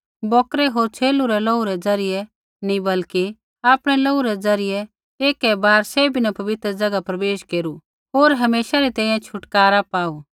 बौकरै होर छ़ेलू रै लोहू रै द्वारा नी बल्कि आपणै लोहू रै द्वारा एकै बार सैभी न पवित्र ज़ैगा प्रवेश केरू होर हमेशै री तैंईंयैं छुटकारा पाऊ